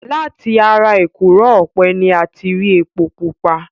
Láti ara èkùrọ́ ọ̀pẹ ni a ti rí epo pupa.